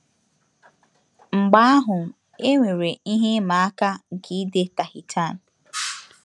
Mgbe ahụ, e nwere ihe ịma aka nke ide Tahitian.